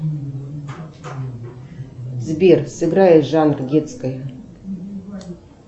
сбер сыграй жанр детской